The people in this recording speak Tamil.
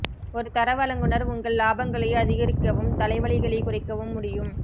ஒரு தர வழங்குநர் உங்கள் இலாபங்களை அதிகரிக்கவும் தலைவலிகளைக் குறைக்கவும் முடியும்